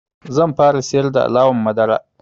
Zan fara siyar da alawar madara.